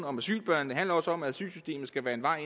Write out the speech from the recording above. om asylbørn det handler også om at asylsystemet skal være en vej